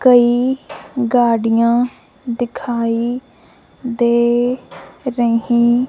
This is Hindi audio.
कई गाड़ियां दिखाई दे रही--